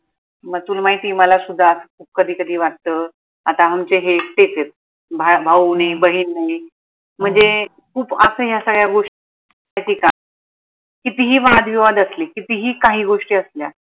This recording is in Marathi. मग तुल माहितीय मला सुद्धा कधी कधी वाटत आता आमचे हे एकटेच आहेत भाऊ नाई बहीण नाई म्हनजे खूप आता या सगळ्या गोष्टी कितीही वादविवाद असले कितीही काही गोष्टी असल्या